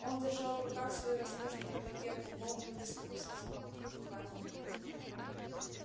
он держал в руках свою роскошную табакерку полную безвкусицу по мнению хардина